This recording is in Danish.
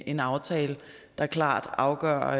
en aftale der klart afgør